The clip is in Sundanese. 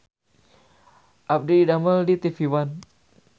Abdi didamel di TV One